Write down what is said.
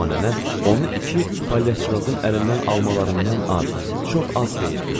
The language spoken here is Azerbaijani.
Amma nənə onu iki palyaçıqazın əlindən almalarından az, çox az xeyir gördü.